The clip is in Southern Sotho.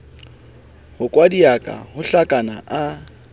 ho kwadiaka ho hlakana a